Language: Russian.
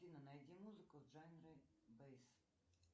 афина найди музыку в жанре бейс